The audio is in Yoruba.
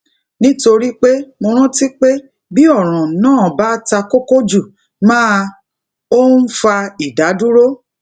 nítorí pé mo rántí pé bí òràn náà ba takoko jù máa o ń fa ìdádúró